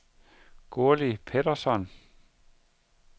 Gurli Petersson